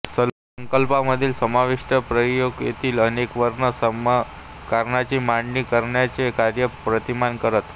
संकल्पनामधील समाविष्ट प्रक्रियेतील अनेक वर्ण समीकरणांची मांडणी करण्याचे कार्य प्रतिमान करत